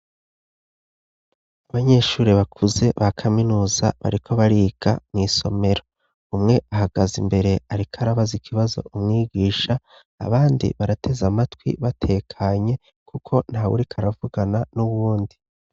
Abanyeshuri bakuze ba kaminuza bariko bariga mw’isomero umwe ahagaze imbere ariko arabaza ikibazo umwigisha abandi barateze amatwi batekanye kuko nta wuriko aravugana n'uwundi.